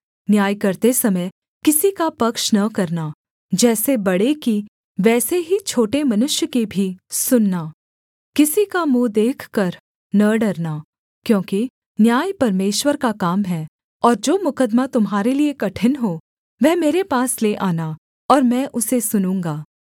न्याय करते समय किसी का पक्ष न करना जैसे बड़े की वैसे ही छोटे मनुष्य की भी सुनना किसी का मुँह देखकर न डरना क्योंकि न्याय परमेश्वर का काम है और जो मुकद्दमा तुम्हारे लिये कठिन हो वह मेरे पास ले आना और मैं उसे सुनूँगा